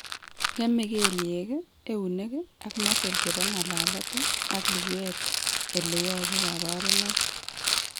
Ng'eme kelyek, eunek, ak muscles chebo ng'alalet ak luguet ele yobu kabarunoik